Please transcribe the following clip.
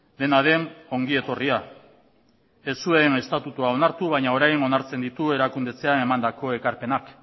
dena den ongi etorria ez zuen estatutua onartu baina orain onartzen dituen erakunde etxea emandako ekarpenak